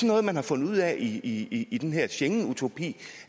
noget man har fundet ud af i i den her schengenutopi